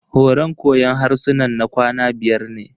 Horan koyon harsunan na kwana biyar ne.